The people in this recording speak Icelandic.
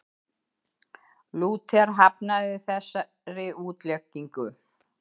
Lúther hafnaði þessari útleggingu.